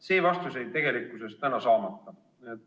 See vastus jäi tegelikult täna saamata.